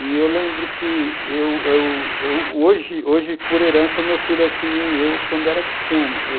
E eu lembro que eu eu... Hoje hoje por herança, meu filho é que nem eu quando era pequeno.